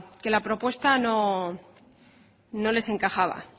que la propuesta no les encajaba